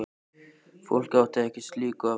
Fólk átti ekki slíku að venjast.